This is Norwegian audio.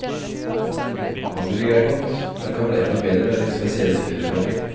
Hamburger er godt, men kan bli enda bedre med din spesielle krydderblanding.